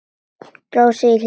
Dró sig í hlé.